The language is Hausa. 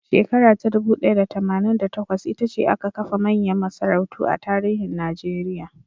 Shekara ta dubu ɗaya da tamanin da takwas, ita ce aka kafa manyan masarautu a tarihin Najeriya.